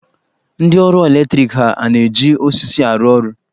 Ndị ọrụ eletriki ha a na-eji osisi arụ ọrụ?